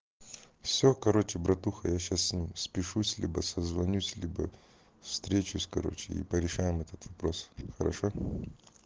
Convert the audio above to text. все короче братуха я сейчас спущусь либо созвонюсь если бы встречу короче и порешаем этот вопрос хорошо